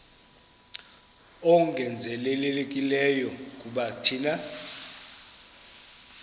ongezelelekileyo kuba thina